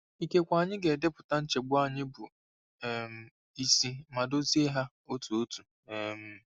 Ikekwe anyị ga-edepụta nchegbu anyị bụ um isi ma dozie ha otu otu. um